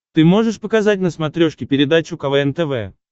ты можешь показать на смотрешке передачу квн тв